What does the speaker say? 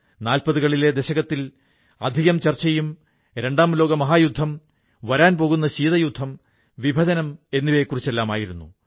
നാല്പതുകളിലെ ദശകത്തിൽ അധികം ചർച്ചയും രണ്ടാം ലോകമഹായുദ്ധം വരാൻ പോകുന്ന ശീതയുദ്ധം വിഭജനം എന്നിവയെക്കുറിച്ചെല്ലാമായിരുന്നു